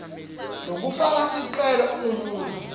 lofaka sicelo ungumuntfu